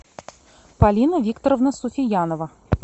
полина викторовна суфиянова